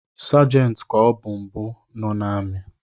Segenti ka ọbụ mbụ nọ n’ami